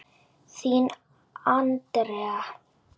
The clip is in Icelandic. Þín Andrea.